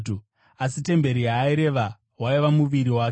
Asi temberi yaaireva waiva muviri wake.